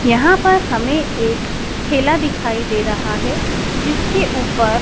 यहां पर हमें एक ठेला दिखाई दे रहा है जिसके ऊपर--